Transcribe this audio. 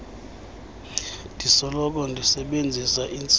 ndisoloko ndisebenzisa iintsilathi